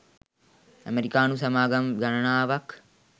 අමෙරිකානු සමාගම් ගණනාවක්